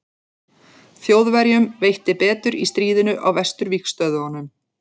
þjóðverjum veitti betur í stríðinu á vesturvígstöðvunum